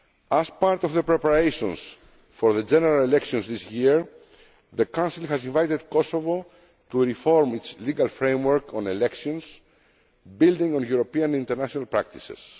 SAA. As part of the preparations for the general elections this year, the Council has invited Kosovo to reform its legal framework on elections, building on European international